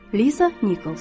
Liza Nikals.